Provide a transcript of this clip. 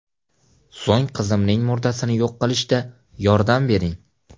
So‘ng qizimning murdasini yo‘q qilishda yordam bering.